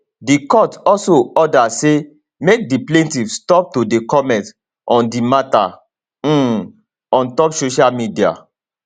di court also order say make di plaintiff stop to dey comment on di mata um on top social media